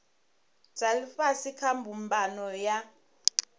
dza ifhasi kha mbumbano ya